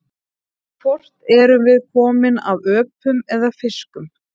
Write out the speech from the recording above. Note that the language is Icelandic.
Hvort erum við komin af öpum eða fiskum?